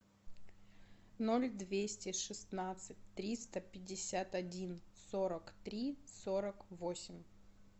ноль двести шестнадцать триста пятьдесят один сорок три сорок восемь